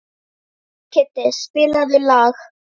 Kiddi, spilaðu lag.